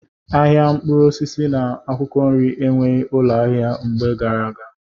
Ahịa mkpụrụ osisi na akwụkwọ nri enweghị ụlọ ahịa mgbe gara aga.